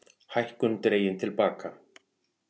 Hækkun dregin til baka